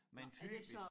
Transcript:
Men typisk